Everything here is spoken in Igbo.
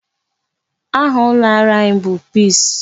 Aha ụlọ ọrụ anyị bụ PEACE.